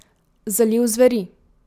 Zaliv zveri.